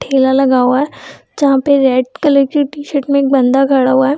ठेला लगा हुआ है जहाँ पर रेड कलर की टी-शर्ट में एक बंदा खड़ा हुआ है।